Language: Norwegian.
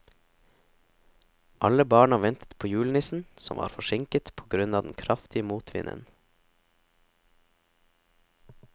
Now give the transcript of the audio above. Alle barna ventet på julenissen, som var forsinket på grunn av den kraftige motvinden.